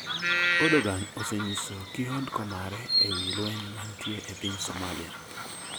Erdogan osenyiso kihondko mare ewi lweny mantie e piny Somalia